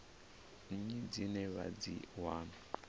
nnyi dzine vha dzi wana